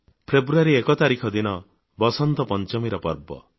1 February ଦିନ ବସନ୍ତ ପଂଚମୀର ପର୍ବ